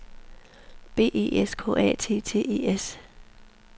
B E S K A T T E S